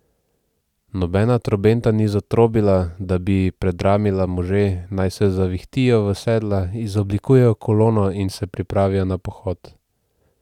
Nobena trobenta ni zatrobila, da bi predramila može, naj se zavihtijo v sedla, izoblikujejo kolono in se pripravijo na pohod.